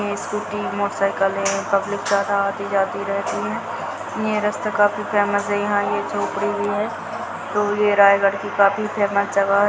ये scooty motorcycle है यहाँ पब्लिक ज्यादा आती जाती रहती है ये रास्ता काफी फेमस है यहाँ ये झोपड़ी भी है और ये रायगढ़ की काफी फेमस जगह है।